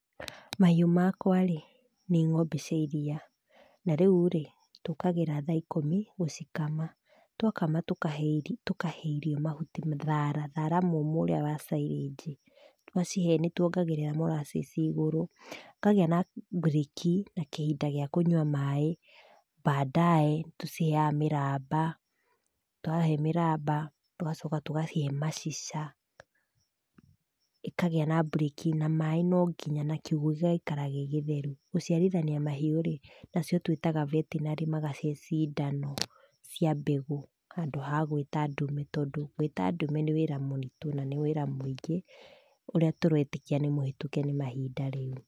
Mahĩũ makwa rĩ nĩ ng'ombe cia ĩriia, na rĩu rĩ tũkagĩra thaa ĩkũmi gũcikama, twakama tũkahe irio, mahuti, thara mũmũ ũrĩa wa cĩrĩnji, twacihe nĩ tuongagĩrĩra moracĩci igũrũ, tũkagĩa na bũrĩki na kĩhinda gĩa kũnyua maĩ. Baadae nĩ tũciheyaga mĩramba twahe mĩramba tũgacoka tugacihe macica, ĩkagĩa na burĩkĩ, na maĩ no nginya na kiũgũ gĩgaikara gĩgĩtheru. Gũchiarithania mahiũ rĩ nacio twĩtaga vetinary magacihe cindano cia mbegũ, handũ ha gwĩta ndume tondũ gwĩta ndume nĩ wĩra mũritũ na nĩ wĩra mũingĩ ũrĩa tũretĩkia nĩ mũhĩtũke nĩ mahinda rĩu.